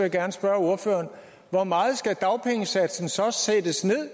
jeg gerne spørge ordføreren hvor meget skal dagpengesatsen så sættes ned